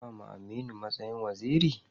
An ba wa Aminu matsayin waziri?